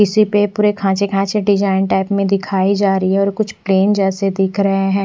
इसी पे पूरे खांचे खांचे डिजाइन टाइप में दिखाई जा रही है और कुछ प्लेन जैसे दिख रहे हैं।